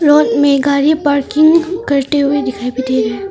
गाड़ी पार्किंग करते हुए दिखाई भी दे रहा है।